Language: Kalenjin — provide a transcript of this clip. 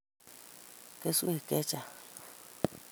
kesweek che chang'